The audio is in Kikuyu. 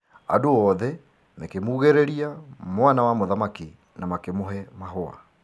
Andũ othe mĩkĩmuugĩrĩria mwana wa mũthamaki na makĩmũhe mahũa.